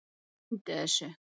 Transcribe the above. Gleymdu þessu!